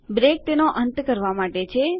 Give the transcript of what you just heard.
break તેનો અંત કરવા માટે છે